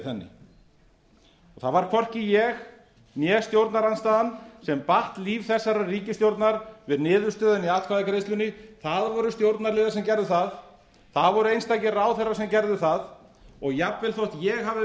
henni það var hvorki ég né stjórnarandstaðan sem batt líf þessarar ríkisstjórnar við niðurstöðuna í atkvæðagreiðslunni það voru stjórnarliðar sem gerðu það það voru einstakir ráðherrar sem gerðu það jafnvel þótt ég hafi verið